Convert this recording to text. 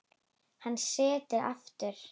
Hann settist aftur.